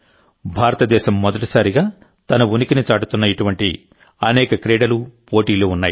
భారతదేశం మొదటిసారిగా తన ఉనికిని చాటుతున్న ఇటువంటి అనేక క్రీడలు పోటీలు ఉన్నాయి